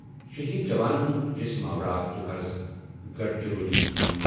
شہید جوانن ہُند جسم آو راتھ دوٛپہرس گڑچرولی اننہٕ۔